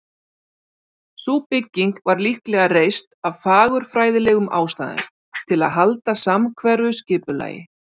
Sú bygging var líklega reist af fagurfræðilegum ástæðum, til að halda samhverfu skipulagi.